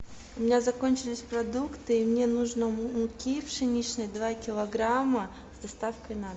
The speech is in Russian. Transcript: у меня закончились продукты и мне нужно муки пшеничной два килограмма с доставкой на дом